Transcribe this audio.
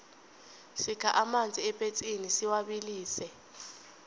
sikha amanzi epetsini siwabilise